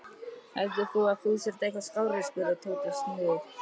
Heldur þú að þú sért eitthvað skárri? spurði Tóti snúðugt.